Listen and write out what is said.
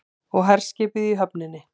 Og herskipið í höfninni.